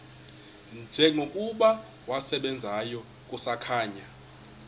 njengokuba wasebenzayo kusakhanya